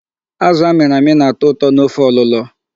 Azụ a mịrị amị na-atọ ụtọ n"ofe ọlụlọ.